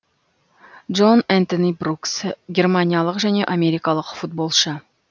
джон энтони брукс германиялық және америкалық футболшы